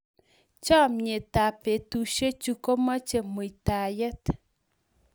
chomnyetab betusiechu komache mitaiyet